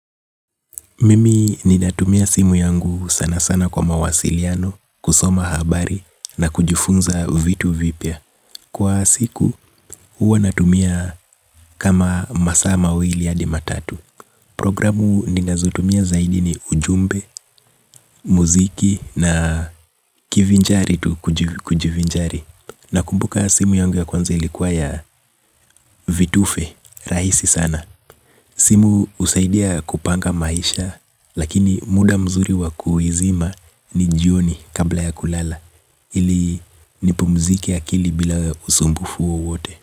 Mimi ninatumia simu yangu sana sana kwa mawasiliano, kusoma habari, na kujifunza vitu vipya. Kwa siku, huwa natumia kama masaa mawili hadi matatu. Programu ninazotumia zaidi ni ujumbe, muziki, na kivinjari tu kujivinjari. Nakumbuka simu yangu ya kwanza ilikuwa ya vitufe, rahisi sana. Simu husaidia kupanga maisha, lakini muda mzuri wa kuizima ni jioni kabla ya kulala, ili nipumzike akili bila usumbufu wowote.